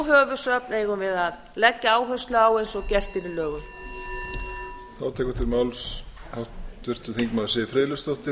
höfuðsöfn eigum við að leggja áherslu á eins og gert er í lögum